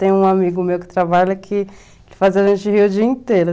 Tem um amigo meu que trabalha que fazia a gente rir o dia inteiro.